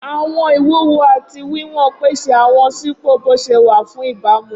Awọn iwuwo ati wiwọn pese awọn sipo boṣewa fun ibamu.